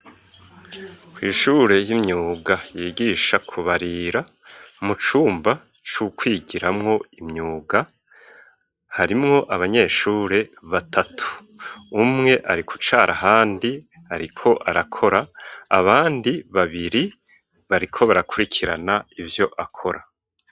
Kw'ishure ry'imyuga ryigisha kubarira mu cumba c'ukwigiramwo imyuga harimwo abanyeshure batatu, umwe ariko ucara handi ariko arakora abandi babiri bariko barakurikirana ivyo akora.